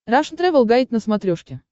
рашн тревел гайд на смотрешке